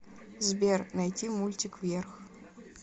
сбер найти мультик вверх